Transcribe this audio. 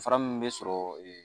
Fara min bɛ sɔrɔ